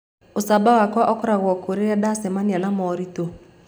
Ũcamba wakwa ũkoragwo kũ rĩrĩa ndacemania na moritũ?